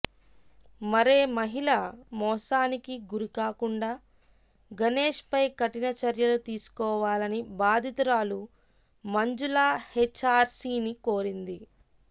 మరే మహిళ మోసానికి గురికాకుండా గణేష్పై కఠిన చర్యలు తీసుకోవాలని బాధితురాలు మంజుల హెచ్ఆర్సిని కోరింది